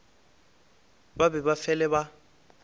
ba be ba fele ba